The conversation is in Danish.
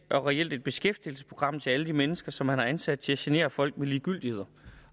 og reelt et beskæftigelsesprogram til alle de mennesker som man har ansat til at genere folk med ligegyldigheder